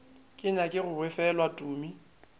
ke nyake go befelwa tumi